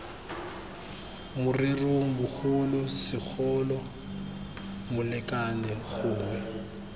morerong bogolo segolo molekane gongwe